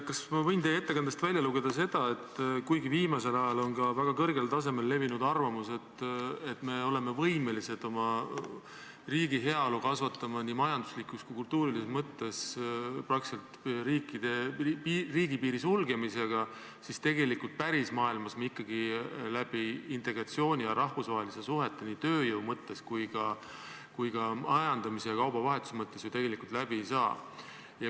Kas ma võin teie ettekandest välja lugeda seda, et kuigi viimasel ajal on väga kõrgel tasemel levinud arvamus, et me oleme võimelised oma riigi heaolu kasvatama nii majanduslikus kui ka kultuurilises mõttes praktiliselt riigipiiri sulgemisega, siis pärismaailmas me nii ikkagi integratsiooni ja rahvusvaheliste suhete, tööjõu ja ka majandamise ja kaubavahetuse mõttes täielikult läbi ei saa?